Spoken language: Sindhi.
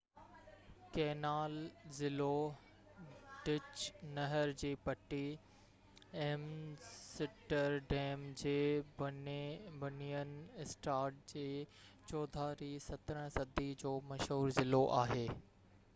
ڪينال ضلعو ڊچ: نهر جي پٽي ايمسٽرڊيم جي بنين اسٽاد جي چوڌاري 17 صدي جو مشهور ضلعو آهي